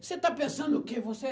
Você está pensando o quê? Você